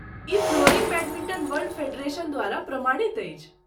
ई flooring badminton world federation द्वारा प्रमाणित अछि।